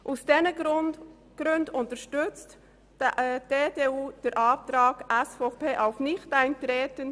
Aus diesen Gründen unterstützt die EDU-Fraktion mehrheitlich den Antrag der SVP auf Nichteintreten.